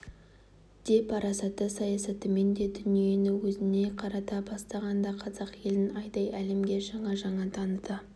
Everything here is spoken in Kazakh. де парасатты саясатымен де дүниені өзіне қарата бастаған да қазақ елін айдай әлемге жаңа-жаңа таныта